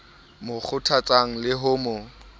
mo kgothatsang le ho mo